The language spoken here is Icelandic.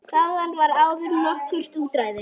Þaðan var áður nokkurt útræði.